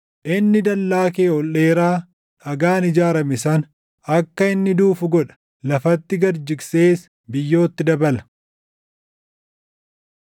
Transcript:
Inni dallaa kee ol dheeraa dhagaan ijaarame sana, akka inni duufu godha; lafatti gad jigsees biyyootti dabala.